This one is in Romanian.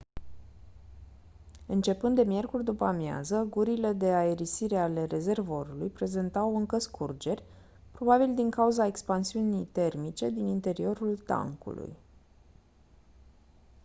începând de miercuri după-amiază gurile de aerisire ale rezervorului prezentau încă scurgeri probabil din cauza expansiunii termice din interiorul tancului